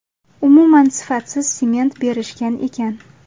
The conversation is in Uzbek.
Umuman sifatsiz sement berishgan ekan.